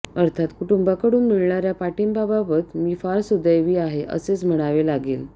अर्थात कुटुंबाकडून मिळणाऱ्या पाठिंब्याबाबत मी फार सुदैवी आहे असेच म्हणावे लागेल